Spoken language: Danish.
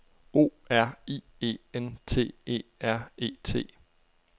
O R I E N T E R E T